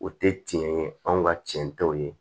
O tɛ tiɲɛ ye anw ka tiɲɛ tɛw ye